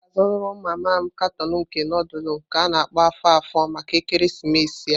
M ga azuru mama m karton nke nudulu nke a-na akpo afo-afo maka ekeresimesi a.